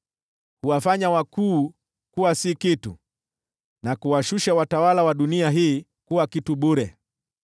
Huwafanya wakuu kuwa si kitu, na kuwashusha watawala wa dunia hii kuwa kitu bure.